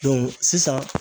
sisan